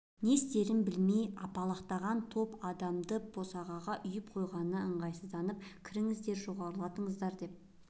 не істерін білмей апалақтаған топты адамды босағаға үйіріп қойғанына ыңғайсызданып кіріңіздер жоғарлатыңыздар деп